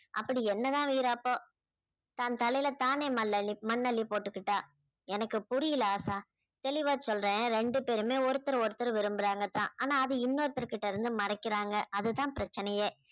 அப்படி என்னதான் வீராப்போ தன் தலையில தானே மல் அள்ளி மண் அள்ளி போட்டுக்கிட்டா எனக்கு புரியல ஆஷா தெளிவா சொல்றேன் ரெண்டு பேருமே ஒருத்தர் ஒருத்தர் விரும்புறாங்க தான் ஆனா அது இன்னொருத்தர் கிட்ட இருந்து மறைக்கிறாங்க அதுதான் பிரச்சனையே